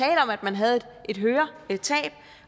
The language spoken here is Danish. af at man havde et høretab